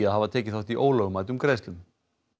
að hafa tekið þátt í ólögmætum greiðslum